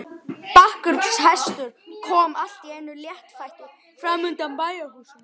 Blakkur hestur kom allt í einu léttfættur fram undan bæjarhúsunum.